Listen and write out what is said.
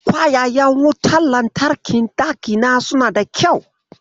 Kwayayen wutar lantarkin ɗakina suna da kyau.